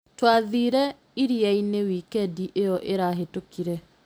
Twathire iria-inĩ wikendi ĩyo ĩrahĩtũkire